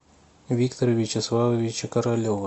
виктора вячеславовича королева